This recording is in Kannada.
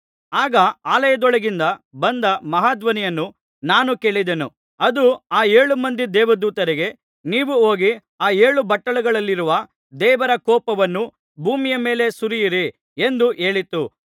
ಆಗ ಆಲಯದೊಳಗಿಂದ ಬಂದ ಮಹಾಧ್ವನಿಯನ್ನು ನಾನು ಕೇಳಿದೆನು ಅದು ಆ ಏಳು ಮಂದಿ ದೇವದೂತರಿಗೆ ನೀವು ಹೋಗಿ ಆ ಏಳು ಬಟ್ಟಲುಗಳಲ್ಲಿರುವ ದೇವರ ಕೋಪವನ್ನು ಭೂಮಿಯ ಮೇಲೆ ಸುರಿಯಿರಿ ಎಂದು ಹೇಳಿತು